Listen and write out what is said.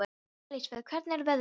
Elísabet, hvernig er veðrið úti?